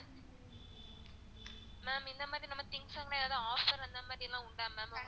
ma'am இந்த மாரி நம்ப things லான் எதுவும் offer லாம் அந்தமாரி ஏதாவது உண்டா ma'am உங்க